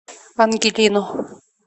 ангелину